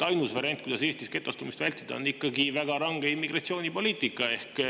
Ainus variant, kuidas Eestis getostumist vältida, on ikkagi väga range immigratsioonipoliitika.